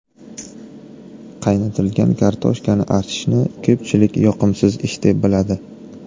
Qaynatilgan kartoshkani archishni ko‘pchilik yoqimsiz ish deb biladi.